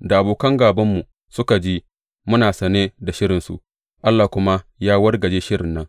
Da abokan gābanmu suka ji muna sane da shirinsu, Allah kuma ya wargaje shirin nan,